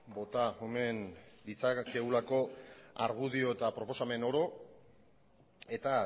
bota omen ditzakegulako argudio eta proposamen oro eta